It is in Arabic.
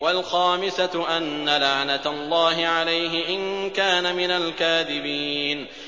وَالْخَامِسَةُ أَنَّ لَعْنَتَ اللَّهِ عَلَيْهِ إِن كَانَ مِنَ الْكَاذِبِينَ